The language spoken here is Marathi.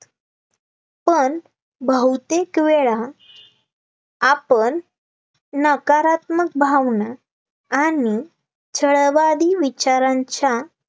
पण बहुतेक वेळा आपण नकारात्मक भावना आणि छळवादी विचारांच्या